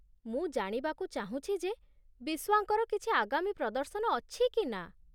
ମୁଁ ଜାଣିବାକୁ ଚାହୁଁଛି ଯେ ବିସ୍ୱାଙ୍କର କିଛି ଆଗାମୀ ପ୍ରଦର୍ଶନ ଅଛି କି ନା।